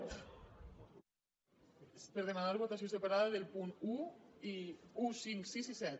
per demanar votació separada dels punts un cinc sis i set